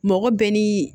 Mɔgɔ bɛɛ ni